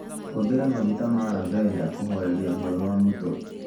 Hũthĩra maguta ma lavender kũhooreria ruo rwa mũtwe.